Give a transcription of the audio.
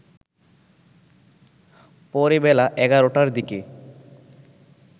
পরে বেলা ১১টার দিকে